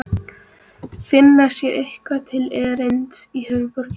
Finna sér eitthvað til erindis í höfuðborginni?